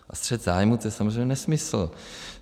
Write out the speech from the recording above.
A střet zájmů - to je samozřejmě nesmysl.